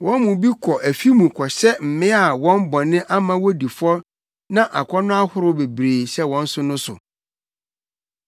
Wɔn mu bi kɔ afi mu kɔhyɛ mmea a wɔn bɔne ama wodi fɔ na akɔnnɔ ahorow bebree hyɛ wɔn so no so;